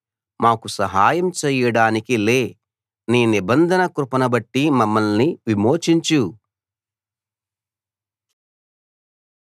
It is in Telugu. మాకు సహాయం చేయడానికి లే నీ నిబంధన కృపను బట్టి మమ్మల్ని విమోచించు